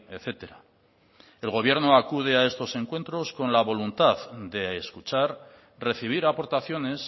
etcétera el gobierno acude a estos encuentros con la voluntad de escuchar recibir aportaciones